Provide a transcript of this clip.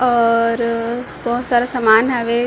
और बहोत सारा सामान हावे।